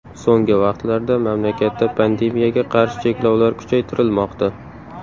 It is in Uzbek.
So‘nggi vaqtlarda mamlakatda pandemiyaga qarshi cheklovlar kuchaytirilmoqda.